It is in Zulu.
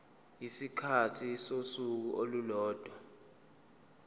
isikhathi sosuku olulodwa